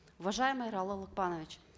уважаемый ералы лукпанович